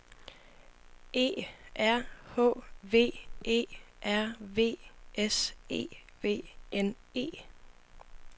E R H V E R V S E V N E